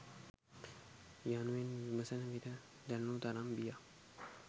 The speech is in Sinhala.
යනුවෙන් විමසන විට දැනුණු තරම් බියක්